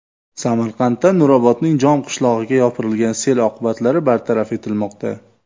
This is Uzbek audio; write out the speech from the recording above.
Samarqandda Nurobodning Jom qishlog‘iga yopirilgan sel oqibatlari bartaraf etilmoqda .